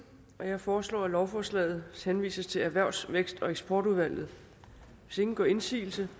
jeg foreslår at lovforslaget henvises til erhvervs vækst og eksportudvalget hvis ingen gør indsigelse